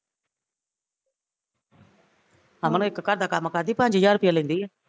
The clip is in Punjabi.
ਅਮਨ ਇੱਕ ਘਰ ਦਾ ਕੰਮ ਕਰਦੀ ਪੰਜ ਹਜ਼ਾਰ ਰੁਪਿਆ ਲੈਂਦੀ ਆ